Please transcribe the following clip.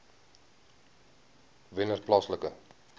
wennerplaaslike